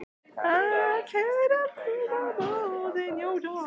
En var það þessi uppákoma sem gerði útslagið?